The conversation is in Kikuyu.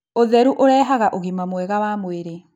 ũtheru ũrehaga ũgima mwega wa mwĩrĩ